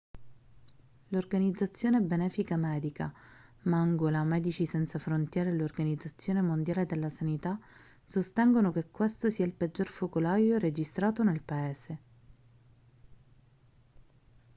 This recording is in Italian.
l'organizzazione benefica medica mangola medici senza frontiere e l'organizzazione mondiale della sanità sostengono che questo sia il peggior focolaio registrato nel paese